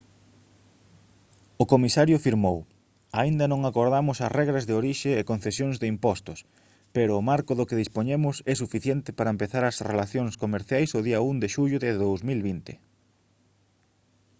o comisario firmou: «aínda non acordamos as regras de orixe e concesións de impostos pero o marco do que dispoñemos é suficiente para empezar as relacións comerciais o día 1 de xullo de 2020»